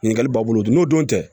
Ɲininkali b'a bolo dun n'o don tɛ